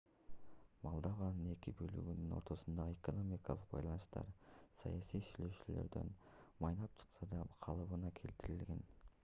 молдованын эки бөлүгүнүн ортосундагы экономикалык байланыштар саясий сүйлөшүүлөрдөн майнап чыкпаса да калыбына келтирилген